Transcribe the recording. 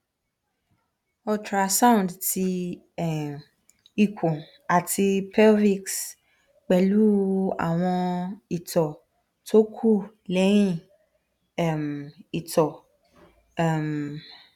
ultrasound ti um ikun ati pelvis pẹlu awon ito to ku lehin um ito um